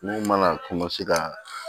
Mun mana ka